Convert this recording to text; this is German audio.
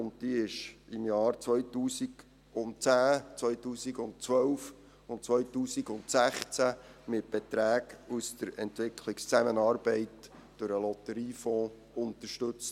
Diese wurde in den Jahren 2010, 2012 und 2016 mit Beträgen für die Entwicklungszusammenarbeit durch den Lotteriefonds unterstützt.